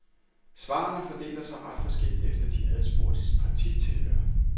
Svarene fordeler sig ret forskelligt efter de adspurgtes partitilhør.